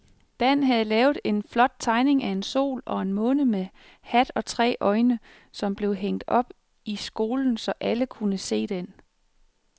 Dan havde lavet en flot tegning af en sol og en måne med hat og tre øjne, som blev hængt op i skolen, så alle kunne se den.